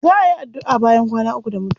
Za a yi addu'a bayan kwana uku da mutuwa.